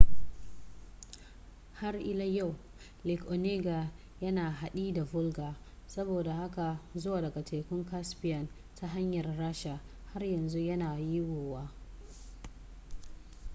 har ila yau lake onega yana haɗi da volga saboda haka zuwa daga tekun caspian ta hanyar rasha har yanzu yana yiwuwa